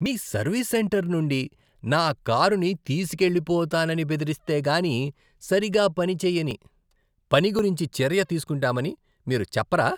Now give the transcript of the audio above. మీ service centre నుండి నా కారుని తీసుకెళ్ళిపోతానని బెదిరిస్తే కానీ సరిగా పని చేయని పని గురించి చర్య తీసుకుంటామని మీరు చెప్పరా?